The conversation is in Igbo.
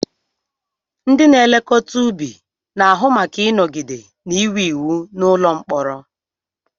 Ndị na-elekọta ubi na-ahụ maka ịnọgide na-enwe iwu n'ụlọ mkpọrọ